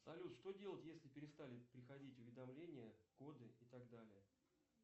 салют что делать если перестали приходить уведомления коды и так далее